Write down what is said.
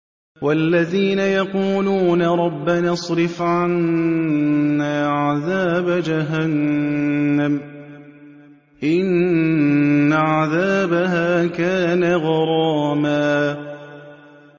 وَالَّذِينَ يَقُولُونَ رَبَّنَا اصْرِفْ عَنَّا عَذَابَ جَهَنَّمَ ۖ إِنَّ عَذَابَهَا كَانَ غَرَامًا